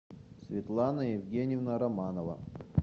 светлана евгеньевна романова